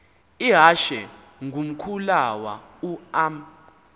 ihashe ngumkhulawa uam